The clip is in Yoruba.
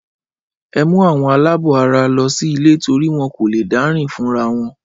Ẹ mú àwọn aláàbọ̀ara lọ sí ilé torí wọ́n kò léè dá rìn fúnra wọn.